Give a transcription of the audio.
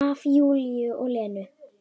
Af Júlíu og Lenu.